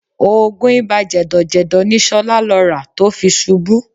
Oògùn ibà jẹ̀dọ̀jẹ̀dọ̀ ni Ṣọlá lọ rà tó fi ṣubú